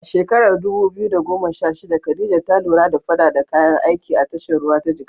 A shekarar 2016, Khadija ta lura da faɗaɗa kayan aiki a tashar ruwa ta Jigawa.